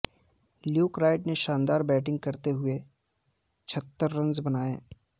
Luke Wright نے شاندار batting کرتے ہوئے چھہتر رنز بنائے